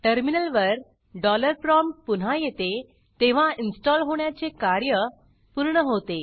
टर्मिनलवर वर dollar prompt पुन्हा येते तेव्हा इनस्टॉल होण्याचे कार्य पूर्ण होते